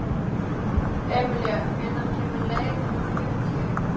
Emilía, hvenær kemur leið númer fjörutíu?